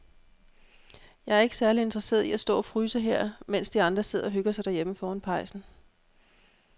Jeg er ikke særlig interesseret i at stå og fryse her, mens de andre sidder og hygger sig derhjemme foran pejsen.